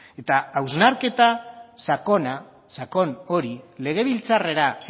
eta hausnarketa sakon hori legebiltzarrera